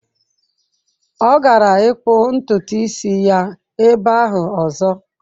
Ọ gara ịkpụ ntutu isi ya ebe ahụ ọzọ.